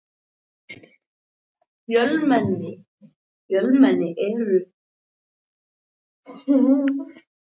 Flótti þeirra undan refsivendi fátækralaganna þótti ekki aðeins bera vott um hugrekki og djörfung.